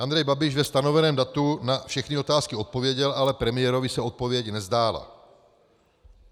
Andrej Babiš ve stanoveném datu na všechny otázky odpověděl, ale premiérovi se odpověď nezdála.